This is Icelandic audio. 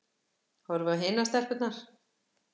Horfi á hinar stelpurnar.